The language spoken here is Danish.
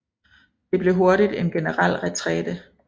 Det blev hurtigt en generel retræte